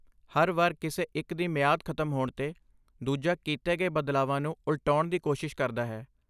ਹਰ ਵਾਰ ਕਿਸੇ ਇੱਕ ਦੀ ਮਿਆਦ ਖਤਮ ਹੋਣ 'ਤੇ, ਦੂਜਾ ਕੀਤੇ ਗਏ ਬਦਲਾਵਾਂ ਨੂੰ ਉਲਟਾਉਣ ਦੀ ਕੋਸ਼ਿਸ਼ ਕਰਦਾ ਹੈ।